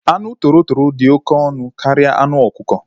Anụ toro toro dị oké ọnụ karịa anụ okuko